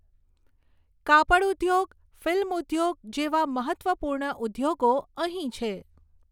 કાપડઉદ્યોગ, ફિલ્મઉદ્યોગ જેવા મહત્ત્વપૂર્ણ ઉદ્યોગો અહીં છે.